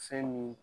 Fɛn min